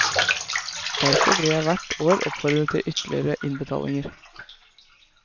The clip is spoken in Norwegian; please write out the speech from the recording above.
Derfor blir jeg hvert år oppfordret til ytterligere innbetalinger.